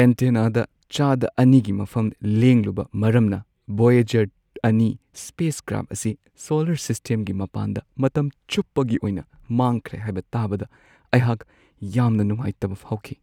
ꯑꯦꯟꯇꯦꯅꯥꯗ ꯆꯥꯗ ꯲ꯒꯤ ꯃꯐꯝ ꯂꯦꯡꯂꯨꯕ ꯃꯔꯝꯅ ꯕꯣꯌꯦꯖꯔ-꯲ ꯁ꯭ꯄꯦꯁ ꯀ꯭ꯔꯥꯐ ꯑꯁꯤ ꯁꯣꯂꯔ ꯁꯤꯁꯇꯦꯝꯒꯤ ꯃꯄꯥꯟꯗ ꯃꯇꯝ ꯆꯨꯞꯄꯒꯤ ꯑꯣꯏꯅ ꯃꯥꯡꯈ꯭ꯔꯦ ꯍꯥꯏꯕ ꯇꯥꯕꯗ ꯑꯩꯍꯥꯛ ꯌꯥꯝꯅ ꯅꯨꯡꯉꯥꯏꯇꯕ ꯐꯥꯎꯈꯤ ꯫